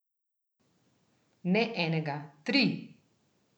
Ne enega, tri!